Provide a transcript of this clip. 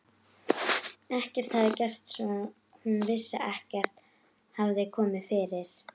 Ekkert hafði gerst, svo hún vissi, ekkert hafði komið fyrir.